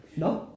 Nårh?